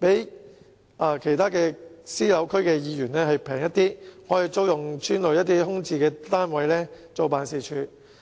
比起其他私人住宅區的區議員辦事處便宜，他們可以租用邨內空置單位作為辦事處。